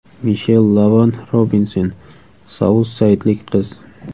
Mishel Lavon Robinson, Saus-Saydlik qiz.